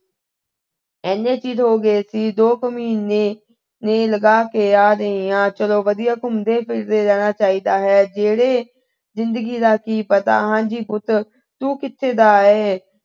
ਇੰਨੇ ਚੀਰ ਹੋ ਗਏ ਸੀ, ਦੋ ਕੁ ਮਹੀਨੇ ਲਗਾ ਕੇ ਆ ਰਹੀ ਆ। ਚਲੋ ਵਧੀਆ ਘੁੰਮਦੇ ਫਿਰਦੇ ਰਹਿਣਾ ਚਾਹੀਦਾ ਹੈ। ਜਿਹੜੇ ਜਿੰਦਗੀ ਦਾ ਕੀ ਪਤਾ। ਹਾਂ ਜੀ ਪੁੱਤ, ਤੂੰ ਕਿੱਥੇ ਦਾ ਹੈ।